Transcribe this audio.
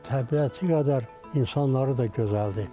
Təbiəti qədər insanları da gözəldir.